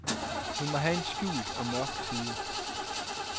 Hun må have en skjult og mørk side.